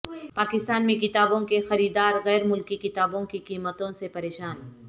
پاکستان میں کتابوں کے خریدار غیر ملکی کتابوں کی قیمتوں سے پریشان